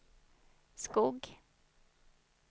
Skog